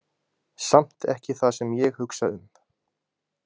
Samt ekki það sem ég hugsa um.